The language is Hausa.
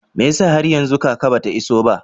Mai yasa har yanzu kaka ba ta iso ba?